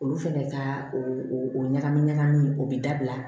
Olu fɛnɛ ka o o ɲagami ɲagami o bi dabila